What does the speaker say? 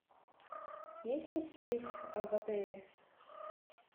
есть ли сейф в отеле